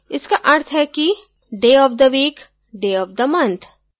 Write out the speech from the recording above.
इसका अर्थ है कि day of the week day of the month